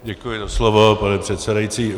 Děkuji za slovo, pane předsedající.